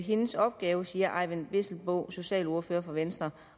hendes opgave siger eyvind vesselbo socialordfører for venstre